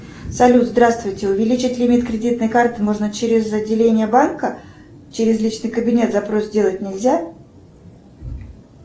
салют здравствуйте увеличить лимит кредитной карты можно через отделение банка через личный кабинет запрос сделать нельзя